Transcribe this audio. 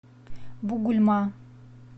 бугульма